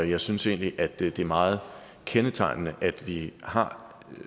jeg synes egentlig at det er meget kendetegnende at vi har